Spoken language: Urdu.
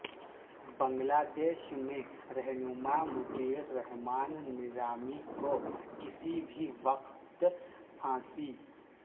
بنگلہ دیش میں رہنما مطیع الرحمان نظامی کو کسی بھی وقت پھانسی